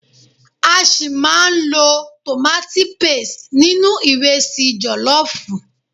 A ṣi máa lo tomati paste nínú ìrẹsi jọ̀lọ́fùú.